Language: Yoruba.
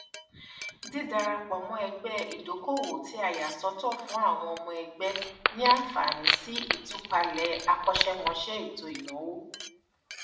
dídadarapọ mọ ẹgbẹ ìdókoòwò tí a yà sọtọ fún àwọn ọmọ ẹgbẹ ní àǹfààní sí ìtúpalẹ akọṣẹmọṣẹ ètò ìnáwó